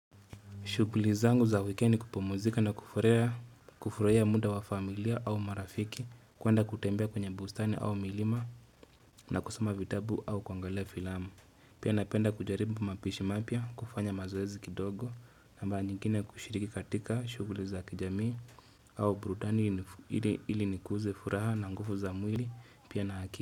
Shuguli zangu za wikendi kupumuzika na kufurahia muda wa familia au marafiki kwenda kutembea kwenye bustani au milima na kusoma vitabu au kuangalia filamu. Pia napenda kujaribu mapishi mapya kufanya mazoezi kidogo na mara nyingine kushiriki katika shuguli za kijamii au burudani ili nikuze furaha na nguvu za mwili pia na akili.